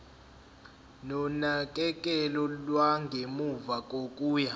nonakekelo lwangemuva kokuya